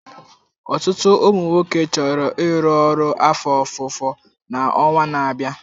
Ọtụtụ ụmụ nwoke chọrọ ịrụ ọrụ afọ ofufo na ọnwa na-abịa.